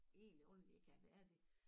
Egentlig ordenlig ikke havde været det